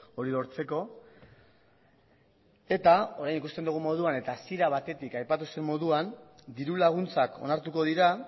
hori lortzeko eta orain ikusten dugun moduan eta hasiera batetik aipatu zen moduan diru laguntzak onartuko dira